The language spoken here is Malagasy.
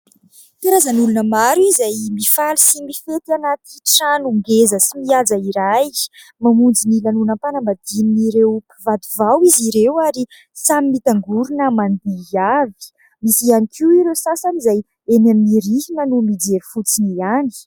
Karazan'olona maro izay mifaly sy mifety anaty trano ngeza sy mihaja iray, mamonjy ny lanonam-panambadian'ireo mpivady vao izy ireo, ary samy mitangorona mandihy avy; misy ihany koa ireo sasany izay eny amin'ny rihana no mijery fotsiny ihany.